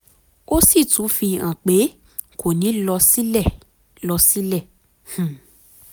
ó sì tún fi hàn pé kò ní lọ sílẹ̀ lọ sílẹ̀ um